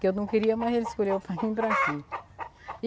Que eu não queria, mas ele escolheu para vim para aqui.